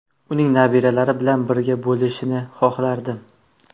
Uning nabiralari bilan birga bo‘lishini xohlardim.